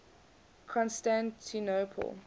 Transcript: constantinople